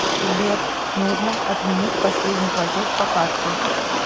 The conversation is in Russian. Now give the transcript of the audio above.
сбер нужно отменить последний платеж по карте